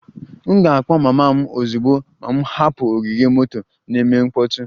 M ga-akpọ mama m ozugbo m hapụrụ ogige moto na-eme mkpọtụ